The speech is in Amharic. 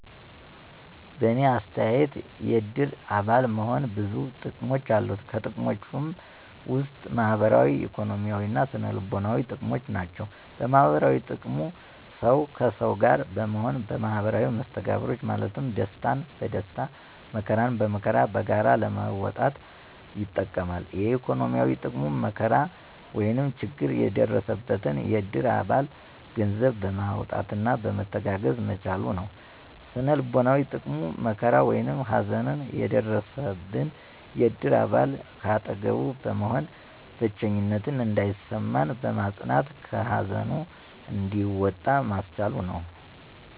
በእኔ አተያየት የእድር አባል መሆን ብዙ ጥቅሞች አሉት። ከጥቅሞችም ውስጥ ማህበራዊ፣ ኢኮኖሚያዊ እና ስነ-ልቦናዊ ጥቅሞች ናቸው። -ማህበራዊ ጥቅሙ፦ ሠው ከሠው ጋር በመሆን ማህበራዊ መስተጋብሮችን ማለትም ደስታን በደስታ መከራን በመከራ በጋራ ለመወጣት ይጠቅማል። -ኢኮኖሚያዊ፦ ጥቅሙ መከራ ወይም ችግር የደረሰበትን የእድር አባል ገንዘብ በማዋጣት መተጋገዝ መቻሉ ነው። -ስነ-ልቦናዊ ጥቅሙ፦ መከራ ወይም ሀዘን የደረሠበን የእድር አባል ከአጠገቡ በመሆን ብቸኝነት እንዳይሠማው በማፅናናት ከሀዘኑ እንዲወጣ ማስቻሉ ነው።